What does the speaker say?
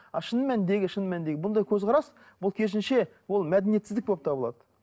а шын мәніндегі шын мәніндегі бұндай көзқарас бұл керісінше ол мәдениетсіздік болып табылады